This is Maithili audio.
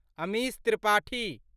अमिश त्रिपाठी